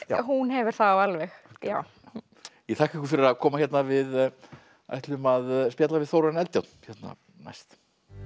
hún hefur þá alveg já ég þakka ykkur fyrir að koma hérna við ætlum að spjalla við Þórarin Eldjárn næst